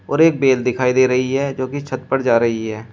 और एक बेल दिखाई दे रही है जो कि छत पर जा रही है।